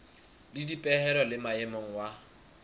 le dipehelo le maemo wa